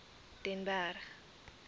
den berg